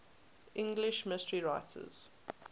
english mystery writers